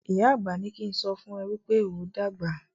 ìyá àgbà ní kín sọfún e wípé óo dàgbà.